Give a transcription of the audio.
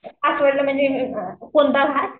कोणता घाट?